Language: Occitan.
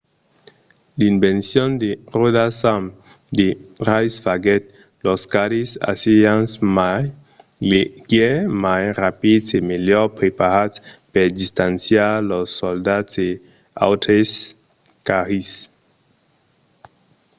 l'invencion de ròdas amb de rais faguèt los carris assirians mai leugièrs mai rapids e melhor preparats per distanciar los soldats e los autres carris